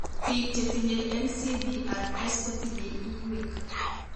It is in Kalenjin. Biik chetinye NCBRS kotinye iywek